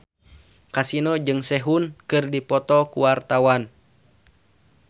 Kasino jeung Sehun keur dipoto ku wartawan